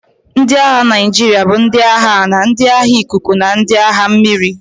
Ndị agha Naijiria bụ ndị agha ala, ndị agha ikuku, na ndị agha mmiri.